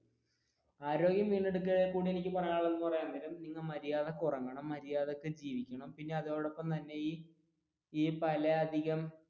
ആരോഗ്യം വീണ്ടെടുക്കാൻ എനിക്ക് പറയാനുള്ളത് എന്ന് പറയാൻ നേരം നിങ്ങൾ മര്യാദക്ക് ഉറങ്ങണം, മര്യാദക്ക് ജീവിക്കണം അതോടൊപ്പം തന്നെ ഈ പല അധികം